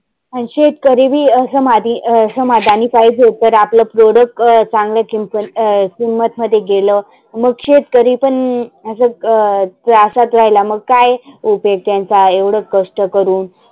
आन शेतकरी बी समाधी अं समाधानी पाहीजे पण आपल product चांगल किम अं किंमत मध्ये गेलं मग शेतकरी पण असं अं त्रासात राहीला मग काय उपेग त्यांचा कष्ट करुण.